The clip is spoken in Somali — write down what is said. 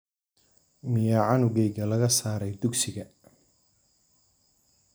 Miyaa canugeyga laga saaray dugsiga?